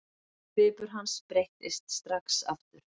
Svipur hans breyttist strax aftur.